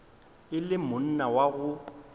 e le monna wa go